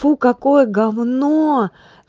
фу какое гавно